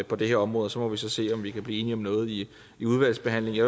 på det her område og så må vi så se om vi kan blive enige om noget i udvalgsbehandlingen